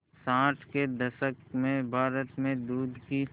साठ के दशक में भारत में दूध की